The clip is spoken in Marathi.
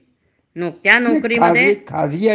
पेंशन म्हणजे सतत मिळत राहते.